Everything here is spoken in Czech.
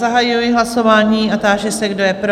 Zahajuji hlasování a táži se, kdo je pro?